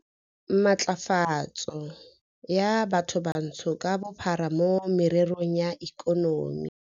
Matlafatso ya Bathobantsho ka Bophara mo Mererong ya Ikonomi.